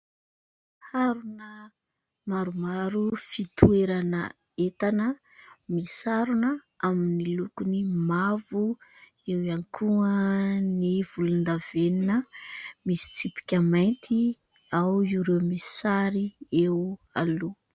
Harona maromaro fitoerana entana misarona, amin'ny lokony mavo eo ihany koa ny volon-davenina misy tsipika mainty, ao ireo misy sary eo aloha.